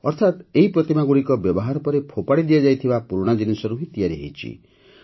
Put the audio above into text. ଅର୍ଥାତ୍ ଏହି ପ୍ରତିମାଗୁଡ଼ିକ ବ୍ୟବହାର ପରେ ଫୋପାଡ଼ି ଦିଆଯାଇଥିବା ପୁରୁଣା ଜିନିଷରୁ ହିଁ ତିଆରି ହୋଇଛି